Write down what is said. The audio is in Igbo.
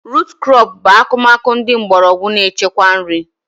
Rut krọp bụ akụmakụ ndị mgbọrọgwụ na-echekwa nri